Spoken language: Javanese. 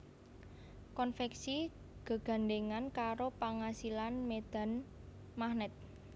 Konvèksi gegandhèngan karo pangasilan médhan magnèt